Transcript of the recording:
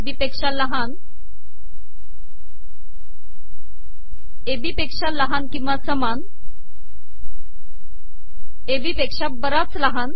बी पेका लहान A B पेका लहान िकवा समान ए बी पेका बराच लहान